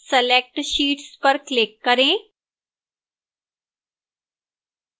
select sheets पर click करें